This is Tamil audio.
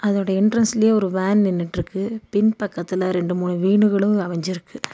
அதோட என்ட்ரன்ஸ்லயே ஒரு வேன் நின்னுட்ருக்கு பின்பக்கத்துல ரெண்டு மூணு வீனுகளு அமஞ்சிருக்கு.